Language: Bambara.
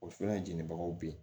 O fɛnɛ jeninibagaw be yen